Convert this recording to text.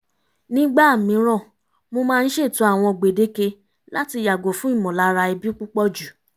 nígbà mìíràn mo máa ń ṣètò àwọn gbèdéke láti yàgò fún ìmọ̀lára ẹbí púpọ̀jù